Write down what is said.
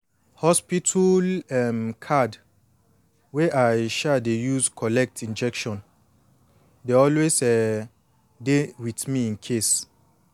hospital um card wey i um dey use collect injection dey always um dey with me incase